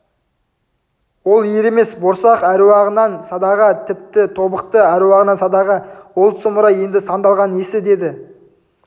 ол ер емес борсақ әруағынан садаға тіпті тобықты әруағынан садаға ол сұмырай еді сандалған несі деді